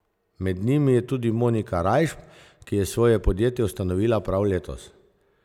Med njimi je tudi Monika Rajšp, ki je svoje podjetje ustanovila prav letos.